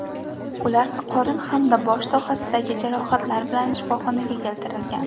Ular qorin hamda bosh sohasidagi jarohatlar bilan shifoxonaga keltirilgan.